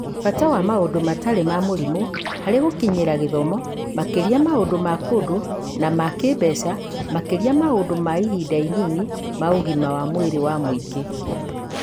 Bata wa maũndũ matarĩ ma mũrimũ harĩ gũkinyĩra gĩthomo, makĩria maũndũ ma kũndũ na ma kĩĩmbeca, makĩria ma maũndũ ma ihinda inini ma ũgima wa mwĩrĩ wa mũingĩ.